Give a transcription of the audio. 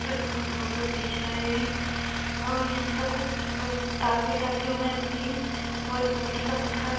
पर वो फोटो खिंच रहे है और यहाँ पर कुछ टॉवल रखे हुए हैं तीन और पानी के मटका रख --